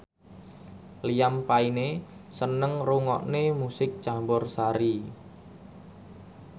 Liam Payne seneng ngrungokne musik campursari